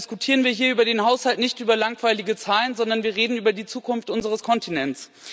Deshalb diskutieren wir hier über den Haushalt nicht über langweilige Zahlen, sondern wir reden über die Zukunft unseres Kontinents.